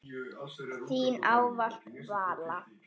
Þín ávallt, Vala.